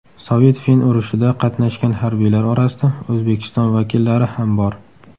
Sovet–fin urushida qatnashgan harbiylar orasida O‘zbekiston vakillari ham bor.